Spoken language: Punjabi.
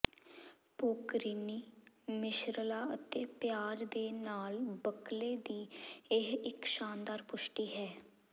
ਪੋਕਰੀਨੀ ਮਿਸ਼ਰਲਾਂ ਅਤੇ ਪਿਆਜ਼ ਦੇ ਨਾਲ ਬੱਕਲੇ ਦੀ ਇਹ ਇੱਕ ਸ਼ਾਨਦਾਰ ਪੁਸ਼ਟੀ ਹੈ